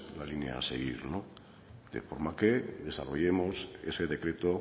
la línea a seguir de forma que desarrollemos ese decreto